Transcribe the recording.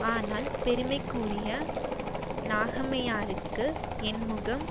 ஆனால் பெருமைக்குரிய நாகம்மையாருக்கு என் முகம்